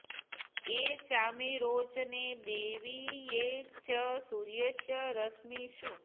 ये चामी रोचने दिवि ये च सूर्यस्य रश्मिषु